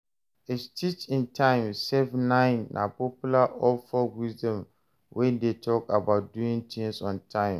A stitch in time save nine na popular old folk wisdom wey de talk about doing things on time